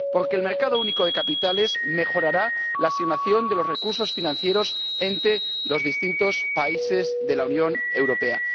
Porque el mercado único de capitales mejorará la asignación de los recursos financieros entre los distintos países de la Unión Europea.